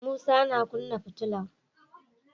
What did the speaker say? Musa ma kina futular